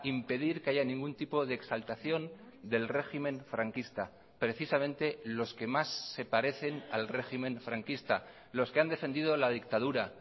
impedir que haya ningún tipo de exaltación del régimen franquista precisamente los que más se parecen al régimen franquista los que han defendido la dictadura